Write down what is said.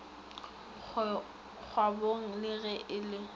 kgwabong le ge e le